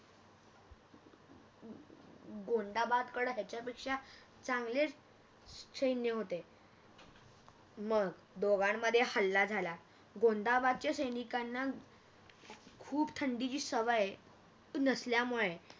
गोंदबादकड त्याच्या पेक्षा चांगलेच आह सैन्य होते अं मग दोघांमध्ये हल्ला झाला गोंदाबादच्या सैनिकांना अं खूप थंडीची सवय नसल्यामुळे